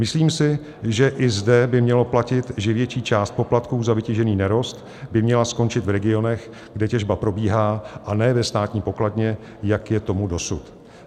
Myslím si, že i zde by mělo platit, že větší část poplatků za vytěžený nerost by měla skončit v regionech, kde těžba probíhá, a ne ve státní pokladně, jak je tomu dosud.